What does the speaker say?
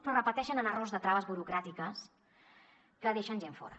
però repeteixen errors de traves burocràtiques que deixen gent fora